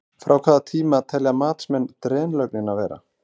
Frá hvaða tíma telja matsmenn drenlögnina vera?